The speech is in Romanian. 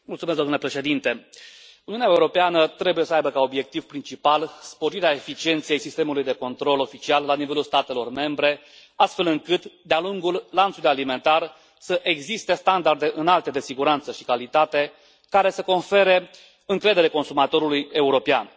Domnule președinte, Uniunea Europeană trebuie să aibă ca obiectiv principal sporirea eficienței sistemului de control oficial la nivelul statelor membre, astfel încât, de a lungul lanțului alimentar să existe standarde înalte de siguranță și calitate care să confere încredere consumatorului european.